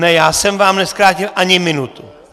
Ne, já jsem vám nezkrátil ani minutu.